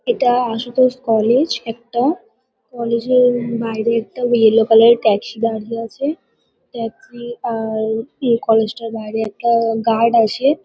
এটা আশুতোষ কলেজ একটা। কলেজ -এর বাইরে একটা ইয়েল কালার -এর ট্যাক্সি দাঁড়িয়ে আছে। ট্যাক্সি আ-আ-র ইয়ে কলেজ -টার বাইরে একটা-আ গার্ড আছে।